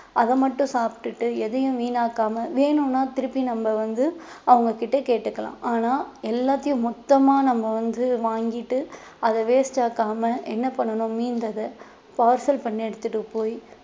அதை மட்டும் சாப்பிட்டுட்டு எதையும் வீணாக்காம வேணும்ன்னா திருப்பி நம்ம வந்து அவங்க கிட்ட கேட்டுக்கலாம் ஆனா எல்லாத்தையும் மொத்தமா நம்ம வந்து வாங்கிட்டு அதை waste ஆக்காம என்ன பண்ணணும் மீந்ததை parcel பண்ணி எடுத்துட்டு போயி